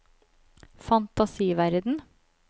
fantasiverden